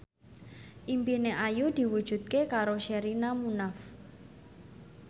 impine Ayu diwujudke karo Sherina Munaf